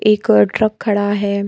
एक और ट्रक खड़ा है।